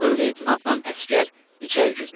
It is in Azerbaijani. Ober-leytenantla əsgər içəri girdilər.